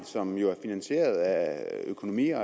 som jo er finansieret af økonomi og